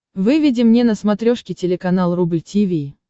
выведи мне на смотрешке телеканал рубль ти ви